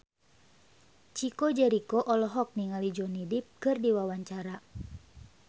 Chico Jericho olohok ningali Johnny Depp keur diwawancara